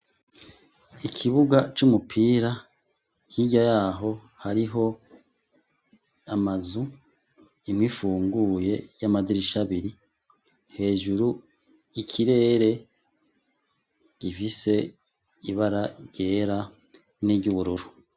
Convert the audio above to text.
Ikibuga c'umupira hirya yaho hariho amazu imwe ifunguye y'amadirisha abiri hejuru ikirere gifise ibara ryera n'iry'ubururu.